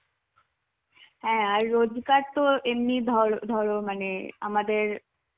হ্যাঁ আর রোজগার তো এমনি ধ~ ধরো মানে আমাদের